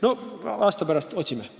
Eks me aasta pärast otsime.